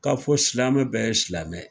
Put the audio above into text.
Ka fɔ silamɛmɛ bɛɛ ye silamɛ ye.